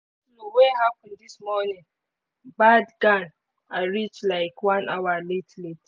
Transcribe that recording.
go-slow wey happen this morning bad gan i reach like one hour late late